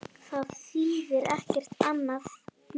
Það þýðir ekkert annað núna.